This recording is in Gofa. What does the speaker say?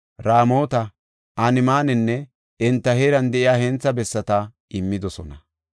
Raamota, Anemananne enta heeran de7iya hentha bessata immidosona.